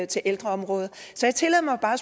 til ældreområdet så jeg tillader mig bare